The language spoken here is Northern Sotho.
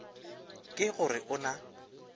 ke go re o na